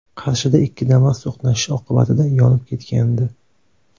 Qarshida ikki Damas to‘qnashishi oqibatida yonib ketgandi .